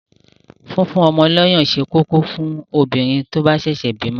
Fífún ọmọ lọyàn ṣé kókó fún obìnrin tó bá ṣẹ̀ṣẹ̀ bímọ.